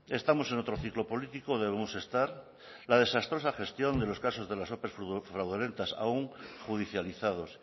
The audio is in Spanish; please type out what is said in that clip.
estamos en otro ciclo político debemos estar la desastrosa gestión de los casos de las ope fraudulentas aún judicializados